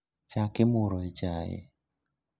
Chak imuro e chai